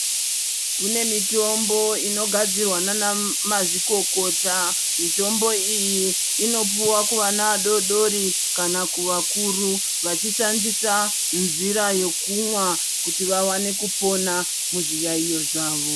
Kune mitombo inogadzirwa ndiana mazvikokota, mitombo iyi inopuwa kuvana vadodori kana kuvakuru vachishandisa nzira yekumwa kuti vavane kupona muzviyaiyo zvavo.